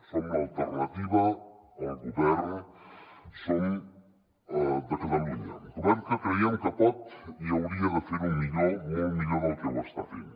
som l’alternativa al govern de catalunya govern que creiem que pot i hauria de fer ho millor molt millor del que ho està fent